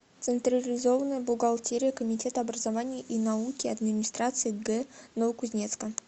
централизованная бухгалтерия комитета образования и науки администрации г новокузнецка